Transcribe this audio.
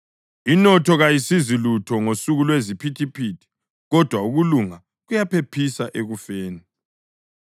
Inotho kayisizi lutho ngosuku lweziphithiphithi kodwa ukulunga kuyaphephisa ekufeni.